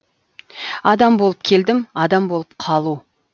адам болып келдім адам болып қалу